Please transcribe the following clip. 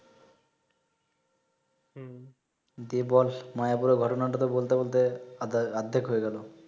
দি বল মায়ের পুরো ঘোটনা টা তো বলতে বলতে আধা আধেক হয়ে গেলো